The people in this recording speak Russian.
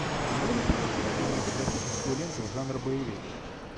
можешь включить кинематографическую ленту жанра боевик